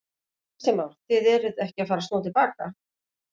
Kristján Már: Þið eruð ekki að fara snúa til baka?